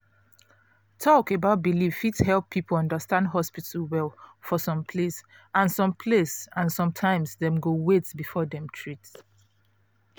talk about belief fit help people understand hospital well for some place and some place and sometimes dem go wait before dem treat